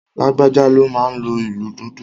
Lágbájá ló máa n lo ìlù dundun